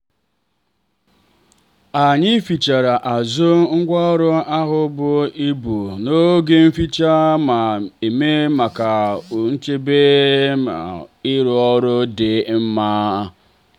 anyị fichara azụ ngwaọrụ ahụ buru ibu n'oge nficha miri emi maka nchedo na iru ọrụ dị mma.